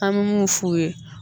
An me mun f'u ye